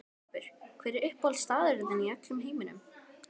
Garpur Hver er uppáhaldsstaðurinn þinn í öllum heiminum?